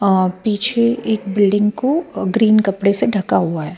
अ पीछे एक बिल्डिंग को अ ग्रीन कपडेसे ढका हुआ है.